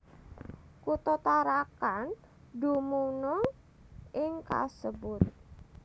Kutha Tarakan dumunung ing kasebut